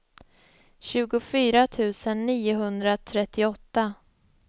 tjugofyra tusen niohundratrettioåtta